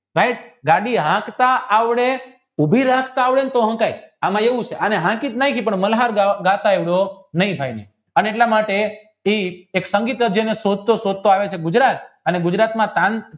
ભાઈ ગાડી હાંકતા આવડે ઉભી રાખતા આવડે ને તો હકાય આમ એવું છે એમાં હાંકી તો નાખીયી અને એટલા માટે એક સંગીત કાર જેના શબ્દ ગુજરાત અને ગુજરાત